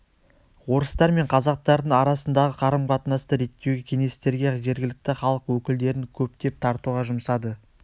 орыстар мен қазақтардың арасындағы қарым-қатынасты реттеуге кеңестерге жергілікті халық өкілдерін көптеп тартуға жұмсады